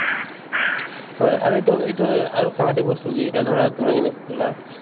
হয় আৰু এইটো এইটো আৰু সাংঘাতিক বস্তু কি ধৰা তুমি যেনেলে কলা